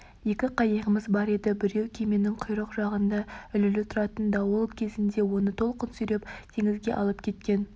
екі қайығымыз бар еді біреуі кеменің құйрық жағында ілулі тұратын дауыл кезінде оны толқын сүйреп теңізге алып кеткен